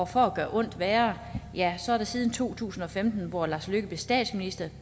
for at gøre ondt værre er der siden to tusind og femten hvor lars løkke rasmussen blev statsminister